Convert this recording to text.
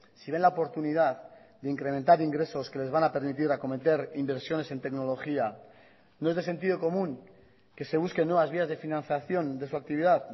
si ven la oportunidad de incrementar ingresos que les van a permitir acometer inversiones en tecnología no es de sentido común que se busquen nuevas vías de financiación de su actividad